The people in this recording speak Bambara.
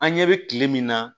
An ɲɛ bɛ kile min na